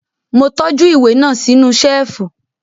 Mo tọ́jú ìwé náà sínú Ṣẹ́ẹ̀fù